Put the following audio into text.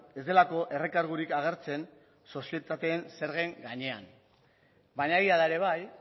ez delako errekargurik agertzen sozietateen zergen gainean baina egia da ere bai